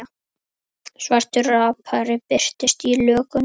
Svartur rappari birtist í lögunum